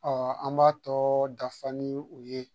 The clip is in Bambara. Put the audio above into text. Ɔ an b'a tɔ dafa ni u ye